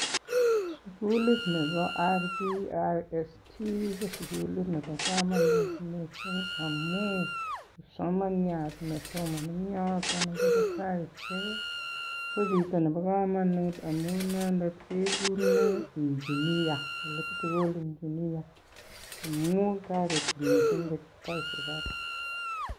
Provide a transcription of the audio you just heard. Sugulit nebo RVIST ko sugulit nebo kamanut missing amun kipsomaniat nesomoni en yoton ko chito nebo kamanut amu inendet koiku electrical engineer ako.